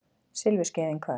Silfurskeiðin hvað?